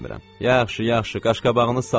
Yaxşı, yaxşı, qaşqabağını sallama.